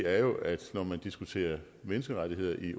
er jo at når man diskuterer menneskerettigheder i